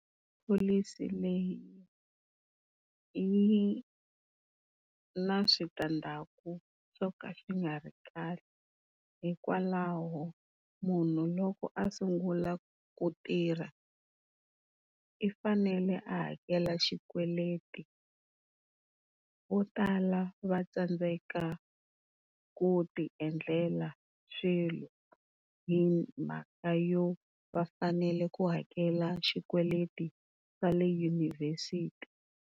Pholisi leyi yi na switandzhaku swo ka swi nga ri kahle hikwalaho munhu loko a sungula ku tirha, u fanele a hakela xikweleti, vo tala va tsandzeka ku tiendlela swilo himhaka yo va fanele ku hakela xikweleti xa le yunivhesiti.